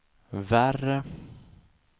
värre